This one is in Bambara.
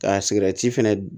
Ka sigɛrɛti fɛnɛ